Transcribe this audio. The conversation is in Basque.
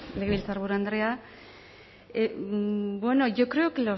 legebiltzarburu andrea bueno yo creo que